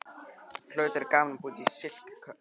Það hlaut að vera gaman að búa í slíkri höll.